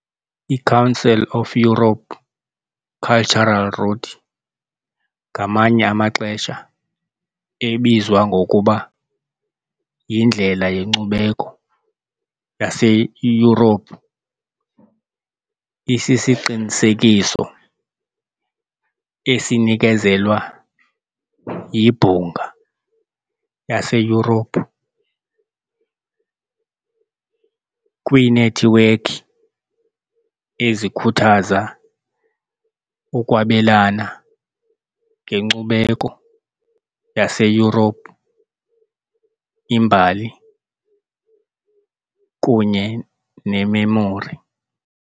I-Council of Europe Cultural Route, ngamanye amaxesha ebizwa ngokuba yiNdlela yeNkcubeko yaseYurophu, isiqinisekiso esinikezelwa yiBhunga laseYurophu kwiinethiwekhi ezikhuthaza ukwabelana ngenkcubeko yaseYurophu, imbali kunye nememori.